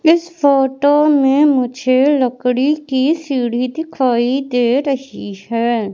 इस फोटो में मुझे लकड़ी की सीढ़ी दिखाई दे रही हैं।